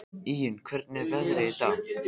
Íunn, hvernig er veðrið í dag?